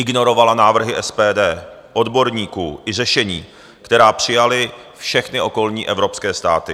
Ignorovala návrhy SPD, odborníků i řešení, která přijaly všechny okolní evropské státy.